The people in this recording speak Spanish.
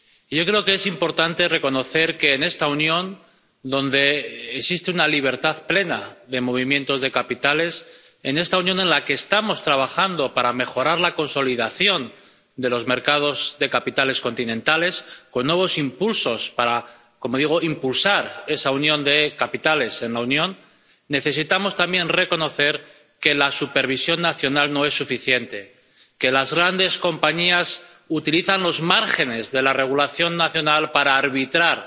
Yo creo que es importante reconocer que, en esta Unión, donde existe una libertad plena de movimientos de capitales, en esta Unión en la que estamos trabajando para mejorar la consolidación de los mercados de capitales continentales, con nuevos impulsos para, como digo, impulsar esa unión de los mercados de capitales en la Unión, necesitamos también reconocer que la supervisión nacional no es suficiente, que las grandes compañías utilizan los márgenes de la regulación nacional para arbitrar